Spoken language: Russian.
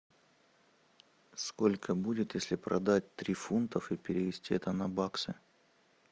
сколько будет если продать три фунтов и перевести это на баксы